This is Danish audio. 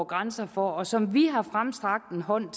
grænser for og som vi har rakt hånden